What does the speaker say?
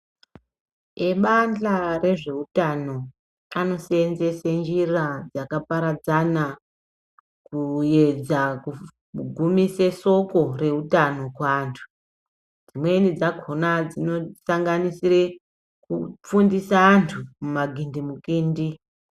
Ebanhla rezveutano anoseenzese njira dzakaparadzana kuedza kugumise soko reutano kuantu. Dzimweni dzakona dzinosanganisire kufundisa antu mumagindimukindi.